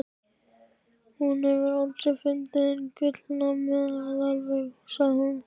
Hún hefur aldrei fundið hinn gullna meðalveg, sagði hún.